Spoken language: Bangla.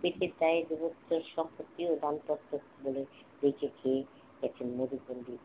পেটের দায়ে দেবত্ব সম্পত্তি ও দানপত্র বেঁচে খেয়ে গেছে মধু পন্ডিত